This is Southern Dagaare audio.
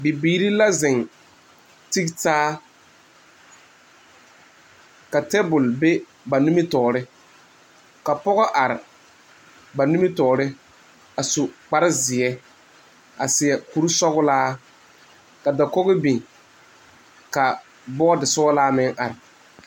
Bibiire la zeŋ tegtaa ka tabul be ba nimitoore. Ka pɔgɔ are ba nimitoore a su kpar zie a seɛ kure sɔglaa. Ka dakoge biŋ ka bɔd sɔglaa meŋ are